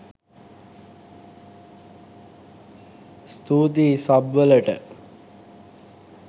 ස්තූතියි සබ් වලට.